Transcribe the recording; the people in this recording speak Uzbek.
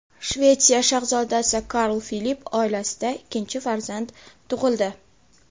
Shvetsiya shahzodasi Karl Filip oilasida ikkinchi farzand tug‘ildi.